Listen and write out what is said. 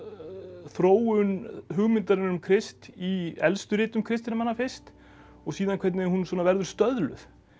þróun hugmyndarinnar um Krist í elstu ritum kristinna manna fyrst og síðan hvernig hún verður stöðluð